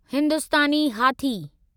हिंदुस्तानी हाथी